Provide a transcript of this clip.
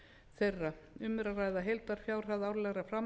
þeirra um er að ræða heildarfjárhæð árlegra